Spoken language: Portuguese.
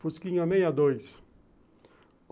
Fusquinha meia dois.